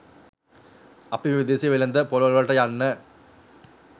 අපි මේ විදේශ වෙළෙඳ ‍පොළවල්වලට යන්න